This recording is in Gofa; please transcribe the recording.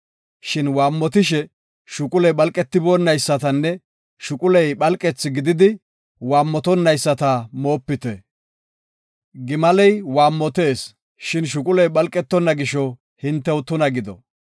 Shin waammotishe shuquley phalqetonaysatanne shuquley phalqethi gididi waammotonayisata moopite. Gimaley waammotees, shin shuquley phalqetonna gisho, hintew tuna gido.